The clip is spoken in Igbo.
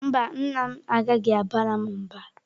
Mba, nna m agaghị abara m mba.